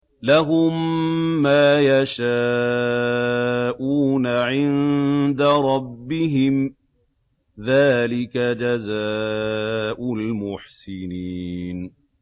لَهُم مَّا يَشَاءُونَ عِندَ رَبِّهِمْ ۚ ذَٰلِكَ جَزَاءُ الْمُحْسِنِينَ